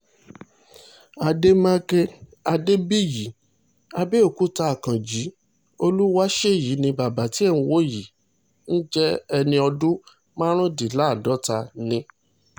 àdèmàkè adébíyì àbẹ̀òkúta akànji olúwáṣèyí ni bàbá tí ẹ̀ ń wò yìí ń jẹ́ ẹni ọdún márùndínláàádọ́ta ni